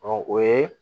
Ɔ o ye